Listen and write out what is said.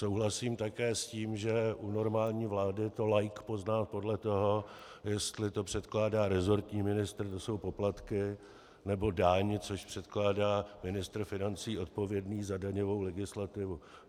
Souhlasím také s tím, že u normální vlády to laik pozná podle toho, jestli to předkládá resortní ministr, že jsou poplatky, nebo daň, což předkládá ministr financí odpovědný za daňovou legislativu.